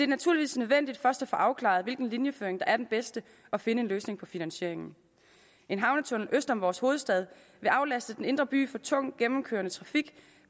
naturligvis nødvendigt først at få afklaret hvilken linjeføring der er den bedste og finde en løsning på finansieringen en havnetunnel øst om vores hovedstad vil aflaste den indre by for tung gennemkørende trafik